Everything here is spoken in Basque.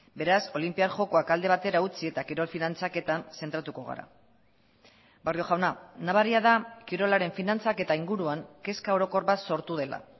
beraz olinpiar jokoak alde batera utzi eta kirol finantzaketan zentratuko gara barrio jauna nabaria da kirolaren finantzak eta inguruan kezka orokor bat sortu dela